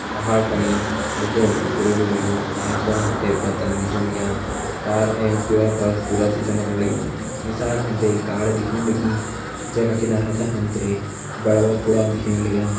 पहाड़ फणी हल्कू हल्कू कुरेड़ू लग्युं एंच फणा हम ते बदल दिखेण लग्यां पार एंच दयोरा पर सूरज चमकण लग्युं नीसाण हम ते एक गाड़ दिखेण लगीं जैका किनारा दा हम ते बड़ा बड़ा कूड़ा दिखेण लग्यां।